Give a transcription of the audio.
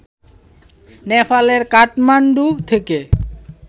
নেপালের কাঠমান্ডু থেকে